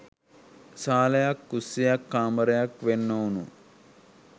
සාලයක් කුස්සියක් කාමරයක් වෙන් ‍නොවුනු